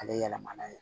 Ale yɛlɛmana ye